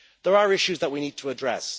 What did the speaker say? There are issues that we need to address.